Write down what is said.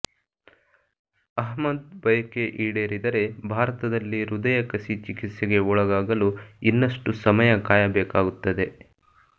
ಅಹ್ಮದ್ ಬಯಕೆ ಈಡೇರಿದರೆ ಭಾರತದಲ್ಲಿ ಹೃದಯ ಕಸಿ ಚಿಕಿತ್ಸೆಗೆ ಒಳಗಾಗಲು ಇನ್ನಷ್ಟು ಸಮಯ ಕಾಯಬೇಕಾಗುತ್ತದೆ